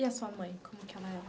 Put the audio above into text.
E a sua mãe, como que ela é?